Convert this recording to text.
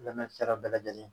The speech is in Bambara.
Lamɛnnikɛla bɛɛ lajɛlen